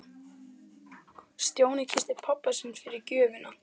Stjáni kyssti pabba sinn fyrir gjöfina.